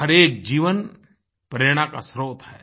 हर एक जीवन प्रेरणा का स्रोत है